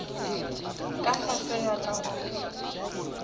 ka fase ga ka go